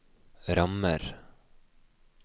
rammer